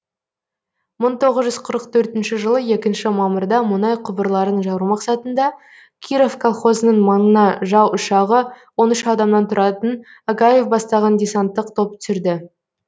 мың тоғыз жүз қырық төртінші жылы екінші мамырда мұнай құбырларын жару мақсатында киров колхозының маңына жау ұшағы он үш адамнан тұратын агаев бастаған десанттық топ түсірді